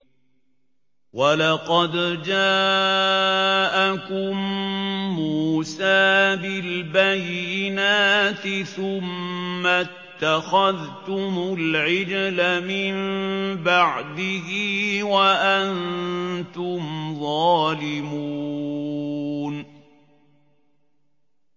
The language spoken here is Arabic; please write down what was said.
۞ وَلَقَدْ جَاءَكُم مُّوسَىٰ بِالْبَيِّنَاتِ ثُمَّ اتَّخَذْتُمُ الْعِجْلَ مِن بَعْدِهِ وَأَنتُمْ ظَالِمُونَ